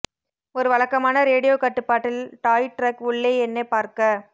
ஒரு வழக்கமான ரேடியோ கட்டுப்பாட்டில் டாய் டிரக் உள்ளே என்ன பார்க்க